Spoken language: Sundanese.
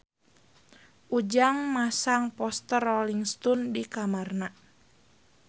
Ujang masang poster Rolling Stone di kamarna